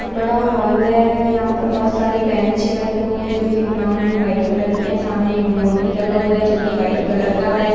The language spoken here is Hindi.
बड़ा हॉल हैं यहां पे बहुत सारी बेंच रखी हुई हैं जो की ब्राउन एण्ड कलर की हैं सामने बोर्ड भी लगा हुवा हैं जो की व्हाइट कलर का हैं।